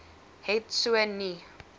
het so nie